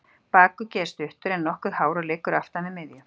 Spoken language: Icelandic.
Bakuggi er stuttur, en nokkuð hár og liggur aftan við miðju.